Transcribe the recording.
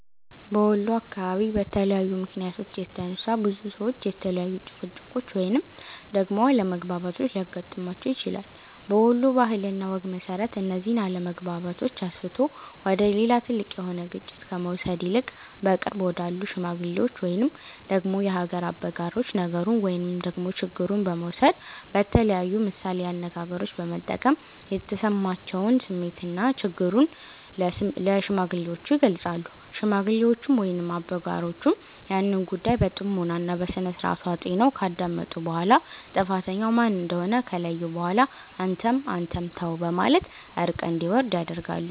በወሎ አካባቢ በተለያዩ ምክንያቶች የተነሳ፤ ብዙ ሰዎች የተለያዩ ጭቅጭቆች ወይንም ደግሞ አለመግባባቶች ሊያገጥማቸው ይችላል። በወሎ ባህል እና ወግ መሰረት፤ እነዚህን አለመግባባቶች አስፍቶ ወደ ሌላ ትልቅ የሆነ ግጭት ከመውሰድ ይልቅ በቅርብ ወዳሉ ሽማግሎች ወይንም ደግሞ የሀገር አበጋሮች ነገሩን ወይንም ደግሞ ችግሩን በመውሰድ በተለያዩ ምሳሌ አነጋገሮች በመጠቀም የተሰማቸውን ስሜትና ችግሩን ለሽማግሌዎቹ ይገልፃሉ። ሽማግሌዎቹም ወይንም አበጋሮቹም ያንን ጉዳይ በጥሞና እና በስነስርዓቱ አጢነው ካዳመጡ በኋላ ጥፋተኛው ማን እንደሆነ ከለዩ በኋላ አንተም አንተም ተው በማለት እርቅ እንዲወርድ ያደርጋሉ።